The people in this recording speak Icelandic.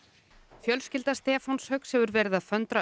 fjölskylda Stefáns Hauks hefur verið að föndra